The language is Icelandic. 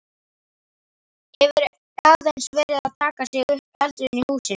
Hefur aðeins verið að taka sig upp eldurinn í húsinu?